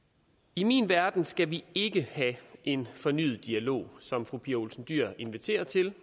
i min verden skal vi ikke have en fornyet dialog som fru pia olsen dyhr inviterer til